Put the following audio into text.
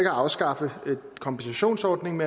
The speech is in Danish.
at afskaffe kompensationsordningen